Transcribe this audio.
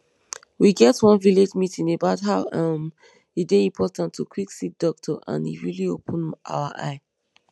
we get one village meeting about how um e dey important to quick see doctor and e really open our eye